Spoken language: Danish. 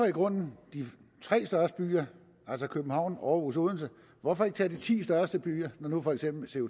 i grunden de tre største byer altså københavn aarhus og odense hvorfor ikke tage de ti største byer når nu for eksempel